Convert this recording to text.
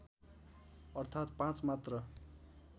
अर्थात् पाँच मात्र